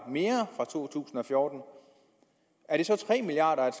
mere fra 2014 er det så tre milliard